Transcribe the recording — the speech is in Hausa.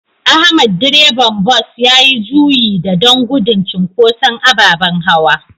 Ahmad Direban Bus yayi juyi da don gudun cinkoson ababen hawa.